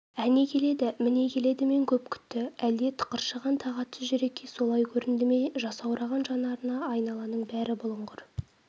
әне келеді міне келедімен көп күтті әлде тықыршыған тағатсыз жүрекке солай көрінді ме жасаураған жанарына айналаның бәрі бұлыңғыр